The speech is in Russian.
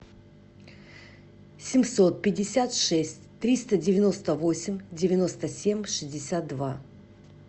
семьсот пятьдесят шесть триста девяносто восемь девяносто семь шестьдесят два